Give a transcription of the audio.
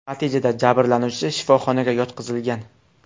Natijada jabrlanuvchi shifoxonaga yotqizilgan.